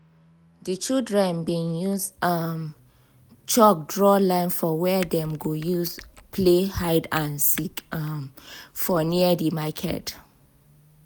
di children been use um chalk draw line for where dem go use play hide and seek um for near di market